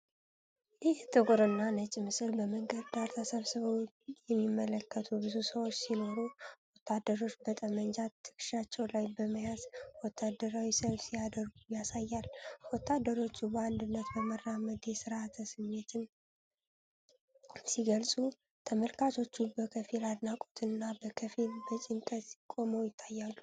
ይህ ጥቁርና ነጭ ምስል፣ በመንገድ ዳር ተሰብስበው የሚመለከቱ ብዙ ሰዎች ሲኖሩ፣ ወታደሮች በጠመንጃ ትከሻቸው ላይ በመያዝ ወታደራዊ ሰልፍ ሲያደርጉ ያሳያል። ወታደሮቹ በአንድነት በመራመድ የሥርዓት ስሜትን ሲገልጹ፣ ተመልካቾቹ በከፊል በአድናቆትና በከፊል በጭንቀት ቆመው ይታያሉ።